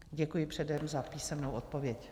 Děkuji předem za písemnou odpověď.